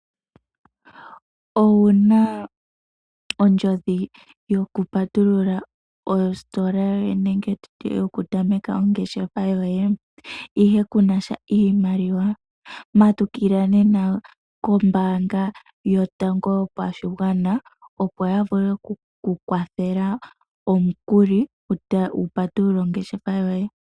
Owuna ondjodhi yokupatulula ositola yoye nenge nditye yokutameka ongeshefa yoye ,ihe kunasha iimaliwa matukila nena kombaanga yotango yopashigwana opo ya vule okukukwathela omukuli wu patulule ongeshefa yoye.